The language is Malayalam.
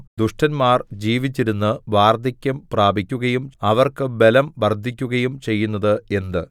ദുഷ്ടന്മാർ ജീവിച്ചിരുന്ന് വാർദ്ധക്യം പ്രാപിക്കുകയും അവർക്ക് ബലം വർദ്ധിക്കുകയും ചെയ്യുന്നത് എന്ത്